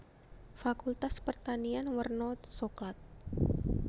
Fakultas Pertanian werna soklat